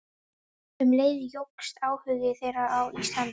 Um leið jókst áhugi þeirra á Íslandi.